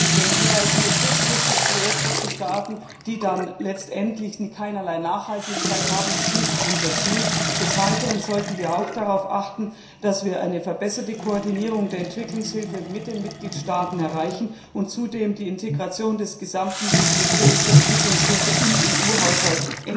Denn nur kurzfristige Projekte zu starten, die dann letztendlich keinerlei Nachhaltigkeit haben, ist nicht unser Ziel. Des Weiteren sollten wir auch darauf achten, dass wir eine verbesserte Koordinierung der Entwicklungshilfe mit den Mitgliedstaaten erreichen und zudem endlich die Integration des gesamten Budgets der Entwicklungshilfe in den EU Haushalt